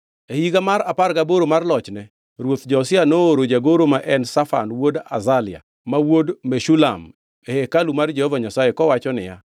E higa mar apar gaboro mar lochne, ruoth Josia nooro jagoro ma en Shafan wuod Azalia, ma wuod Meshulam, e hekalu mar Jehova Nyasaye kowacho niya,